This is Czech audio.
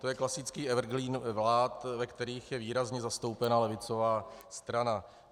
To je klasický evergreen vlád, ve kterých je výrazně zastoupena levicová strana.